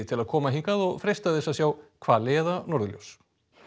til að koma hingað og freista þess að sjá hvali eða norðurljós